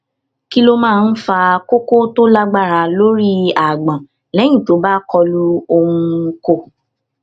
kí ló máa ń fa koko tó lágbára lórí agbọn lẹyìn tó bá kọlu oun ko